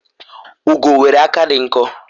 ugo nwere aka di nkọ